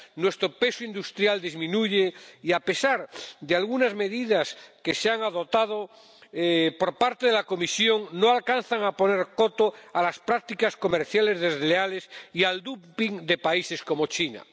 Nuestro peso industrial disminuye y, a pesar de algunas medidas que se han adoptado por parte de la Comisión, no alcanzan a poner coto a las prácticas comerciales desleales y al dumping de países como China.